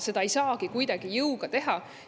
Seda ei saagi kuidagi jõuga teha.